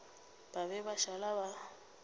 ba be ba šala ba